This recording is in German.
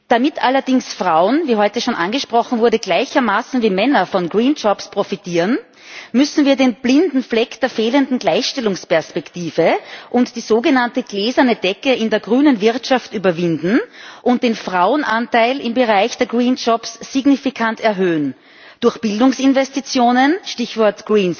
Damit allerdings Frauen, wie heute schon angesprochen wurde, gleichermaßen wie Männer von grünen Arbeitsplätzen profitieren, müssen wir den blinden Fleck der fehlenden Gleichstellungsperspektive und die sogenannte gläserne Decke in der grünen Wirtschaft überwinden und den Frauenanteil im Bereich der grünen Arbeitsplätze signifikant erhöhen, und zwar durch Bildungsinvestitionen Stichwort